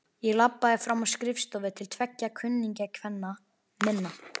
Ég labbaði fram á skrifstofu til tveggja kunningjakvenna minna.